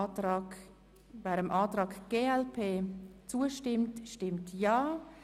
Wer dem Antrag der glp zustimmt, stimmt Ja.